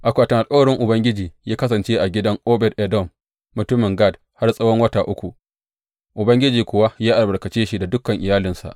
Akwatin Alkawarin Ubangiji ya kasance a gidan Obed Edom mutumin Gat har tsawon wata uku, Ubangiji kuwa ya albarkace shi da dukan iyalinsa.